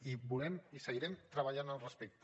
i volem i seguirem treballant al respecte